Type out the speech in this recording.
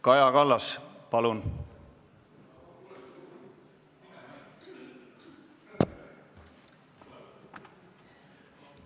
Kaja Kallas, palun!